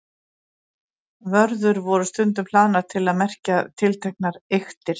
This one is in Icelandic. Vörður voru stundum hlaðnar til að merkja tilteknar eyktir.